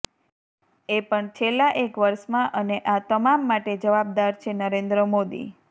એ પણ છેલ્લા એક વર્ષમાં અને આ તમામ માટે જવાબદાર છે નરેન્દ્ર મોદી